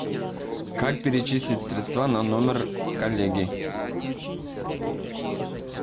как перечислить средства на номер коллеги